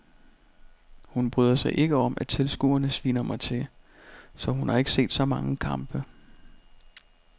Hun bryder sig ikke om at tilskuerne sviner mig til, så hun har ikke set så mange kampe.